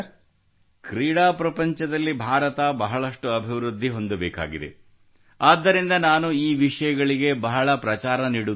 ಕ್ರೀಡಾ ಪ್ರಪಂಚದಲ್ಲಿ ಭಾರತ ಬಹಳಷ್ಟು ಅಭಿವೃದ್ಧಿ ಹೊಂದಬೇಕಾಗಿದೆ ಆದ್ದರಿಂದ ನಾನು ಈ ವಿಷಯಗಳಿಗೆ ಬಹಳ ಪ್ರಚಾರ ನೀಡುತ್ತಿದ್ದೇನೆ